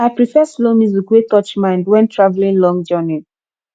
i prefer slow music wey touch mind when traveling long journey